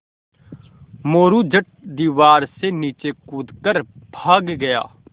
मोरू झट दीवार से नीचे कूद कर भाग गया